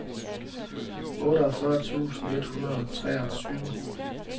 otteogfyrre tusind et hundrede og treogtyve